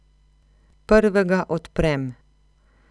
Prvega odprem.